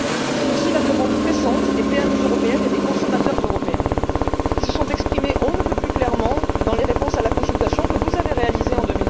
C'est aussi la demande pressante des PME européennes et des consommateurs européens qui se sont exprimés on ne peut plus clairement dans les réponses à la consultation que vous avez réalisée en